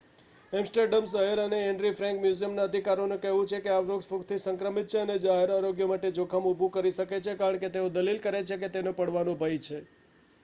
Amsterdam શહેર અને Anne Frank મ્યુઝિયમના અધિકારીઓ નું કહેવું છે કે આ વૃક્ષ ફૂગથી સંક્રમિત છે અને જાહેર આરોગ્ય માટે જોખમ ઊભું કરે શકે છે કારણ કે તેઓ દલીલ કરે છે કે તેનો પડવાનો ભય છે